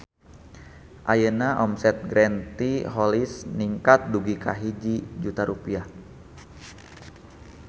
Ayeuna omset Green Tea Holics ningkat dugi ka 1 juta rupiah